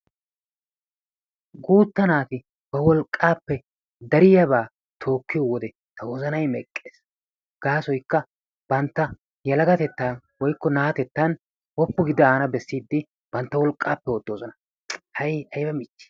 Guutta naati wolqqaappe dariyaba tookkiyo wode ta wozanayi meqqes. Gaasoykka bantta yelagatettan woykko naatettan woppu gi daana bessiiddi bantta wolqqaappe oottoosona hay ayba michii!